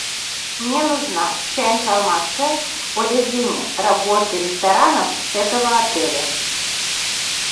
мне нужна вся информация о режиме работы ресторанов этого отеля